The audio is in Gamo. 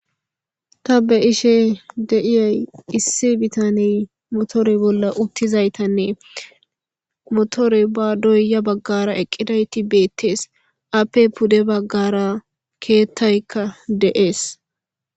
ta be ishe deiyay issi bitaney motore bolla uttizaytanne motore ba doyya baggara eqqidayti beettees appe pude baggara keettaykka de7ees